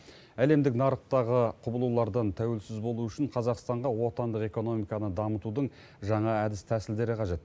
әлемдік нарықтағы құбылулардан тәуелсіз болу үшін қазақстанға отандық экономиканы дамытудың жаңа әдіс тәсілдері қажет